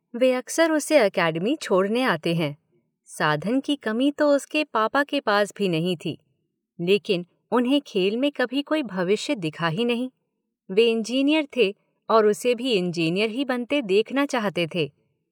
वे अक्सर उसे एकेडमी में बनने देखना चाहते थे। साधन की कमी तो उसके पापा के पास भी नहीं थी। लेकिन उन्हें खेल में कभी कोई भविष्य दिखा ही नहीं। वे इंजीनियर थे और उसे भी इंजीनियर ही बनते देखना चाहते थे।